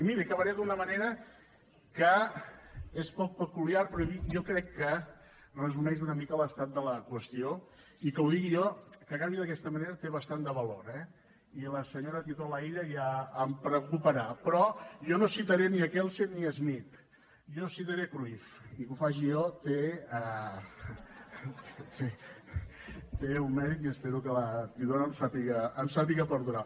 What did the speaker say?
i mirin acabaré d’una manera que és poc peculiar però jo crec que resumeix una mica l’estat de la qüestió i que ho digui jo que acabi jo d’aquesta manera té bastant de valor eh i la senyora titon laïlla ja em perdonarà però jo no citaré ni kelsen ni schmitt jo citaré cruyff i que ho faci jo té un mèrit i espero que la titon em sàpiga perdonar